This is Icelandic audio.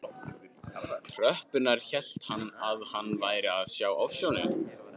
tröppurnar hélt hann að hann væri að sjá ofsjónir.